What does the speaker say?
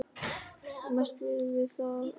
Mest veiðum við af þorski.